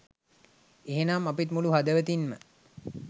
එහෙමනම් අපිත් මුළු හදවතින්ම